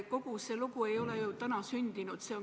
Kogu see lugu ei ole ju täna sündinud.